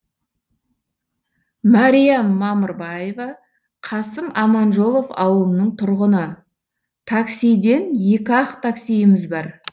мәриям мамырбаева қасым аманжолов ауылының тұрғыны таксиден екі ақ таксиіміз бар